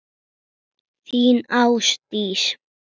Þín Ásdís.